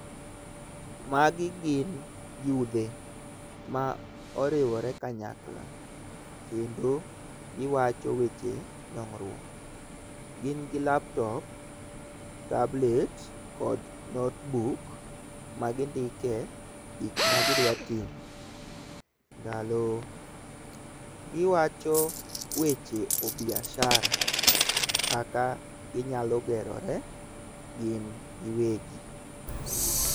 Magi gin yudhe ma oriwore kanyakla, kendo giwacho weche dongruok. Gin gi laptop, tablet kod notebook magindike gik ma gidwatimo ndalo. Giwacho weche ubiashara kaka ginyalo gerore gin giwegi.